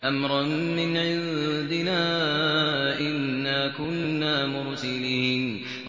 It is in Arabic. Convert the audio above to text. أَمْرًا مِّنْ عِندِنَا ۚ إِنَّا كُنَّا مُرْسِلِينَ